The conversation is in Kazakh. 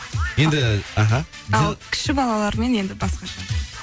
енді іхі ал кіші балалармен енді басқаша